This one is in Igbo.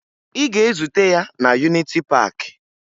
Ị ga-ezute ya na Yuniti Paakị!